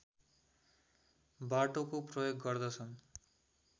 बाटोको प्रयोग गर्दछन्